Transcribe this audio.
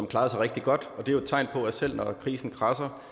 klarede sig rigtig godt og det er et tegn på at selv når krisen kradser